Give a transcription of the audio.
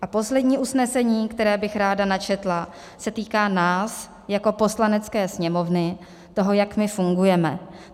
A poslední usnesení, které bych ráda načetla, se týká nás jako Poslanecké sněmovny, toho, jak my fungujeme.